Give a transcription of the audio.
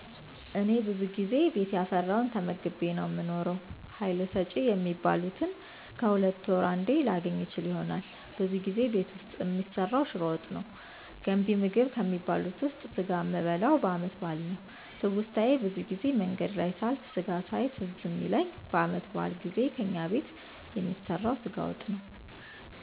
እኔ ብዙ ጊዜ ቤት ያፈራዉን ተመግቤ ነዉ የምኖረዉ ሀይል ሰጭ የሚባሉትን ከሁለት ወር አንዴ ላገኝ እችል ይሆናል ብዙ ጊዜ ቤት ዉስጥ የሚሰራዉ ሽሮ ወጥ ነዉ ገንቢ ምግብ ከሚባሉት ዉስጥ ስጋ የሚበላዉ በአመት በአል ነዉ ትዉስታየ ብዙ ጊዜ መንገድ ላይ ሳልፍ ስጋ ሳየዉ ትዝ የሚለኝ በአመት በአል ጊዜ ከእኛ ቤት የሚሰራዉ ስጋ ወጥ ነዉ